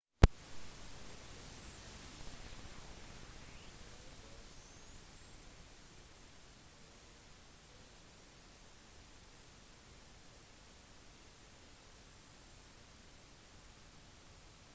det trengs en gigantisk rakett på over 100 britiske fot for å sende en satellitt eller teleskop til verdensrommet